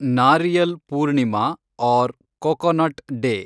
Nariyal Purnima or coconut day